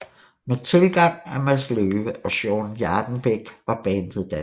Med tilgang af Mads Løwe og Sean Jardenbæk var bandet dannet